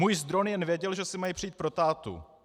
Můj zdroj jen věděl, že si mají přijít pro tátu.